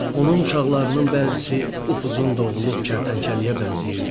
Onun uşaqlarının bəzisi uzun doğulub kərtənkələyə bənzəyirdi.